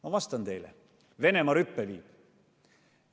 Ma vastan teile: Venemaa rüppe viib!